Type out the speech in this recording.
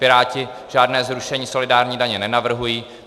Piráti žádné zrušení solidární daně nenavrhují.